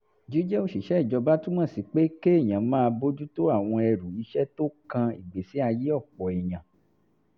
jíjẹ́ òṣìṣẹ́ ìjọba túmọ̀ sí pé kéèyàn máa bójú tó àwọn ẹrù iṣẹ́ tó kan ìgbésí ayé ọ̀pọ̀ èèyàn